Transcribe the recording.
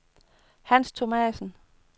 Hans Thomassen